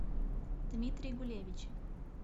дмитрий гулевич